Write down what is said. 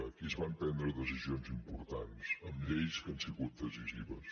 aquí es van prendre decisions importants amb lleis que han sigut decisives